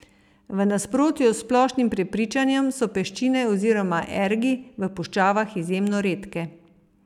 V nasprotju s splošnim prepričanjem so peščine oziroma ergi v puščavah izjemno redke.